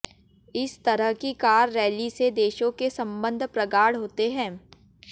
इस तरह की कार रैली से देशों के संबंध प्रगाढ़ होते हैं